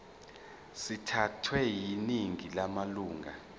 sithathwe yiningi lamalunga